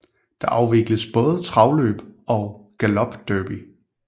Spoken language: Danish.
Der afvikles både travløb og galopderby